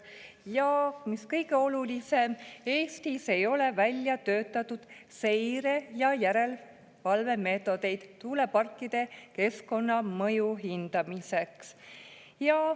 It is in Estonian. Ja mis kõige olulisem, Eestis ei ole välja töötatud seire‑ ja järelevalvemeetodeid tuuleparkide keskkonnamõju hindamiseks.